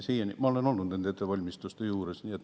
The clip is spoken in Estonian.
Ma olen olnud nende ettevalmistuste juures.